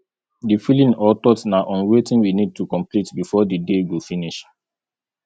the feeling or thought na on wetin we need to complete before di day go finish